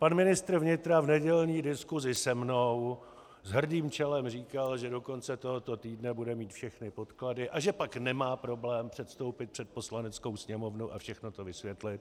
Pan ministr vnitra v nedělní diskusi se mnou s hrdým čelem říkal, že do konce tohoto týdne bude mít všechny podklady a že pak nemá problém předstoupit před Poslaneckou sněmovnu a všechno to vysvětlit.